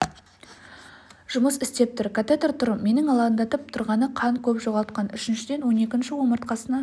жұмыс істеп тұр катетр тұр менің алаңдатып тұрғаны қан көп жоғалтқан үшіншіден он екінші омыртқасына